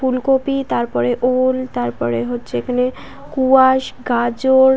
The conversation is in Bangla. ফুলকপি তারপরে ওল তারপরে হচ্ছে এখানে কুয়াস গাজর।